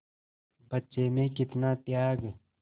बच्चे में कितना त्याग